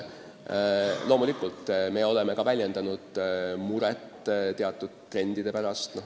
Loomulikult me oleme väljendanud muret teatud trendide pärast.